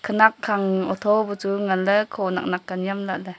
nak khang otho pe chu ngan le kho nak nak nyam lah le.